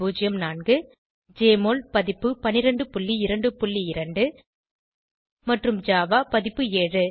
1204 Jmol பதிப்பு 1222 மற்றும் Java பதிப்பு 7